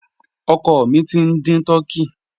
Ọ̀kọ́ mí tí n dín tùrkèyì.